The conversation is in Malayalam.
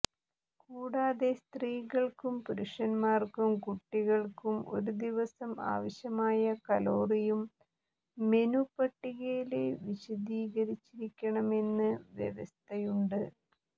കൂടാതെ സ്ത്രീകള്ക്കും പുരുഷന്മാര്ക്കും കുട്ടികള്ക്കും ഒരു ദിവസം ആവശ്യമായ കലോറിയും മെനു പട്ടികയില് വിശദീകരിച്ചിരിക്കണമെന്ന് വ്യവസ്ഥയുണ്ട്